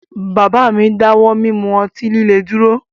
Bàbá mi dáwọ́ mí mú ọtí líle dúró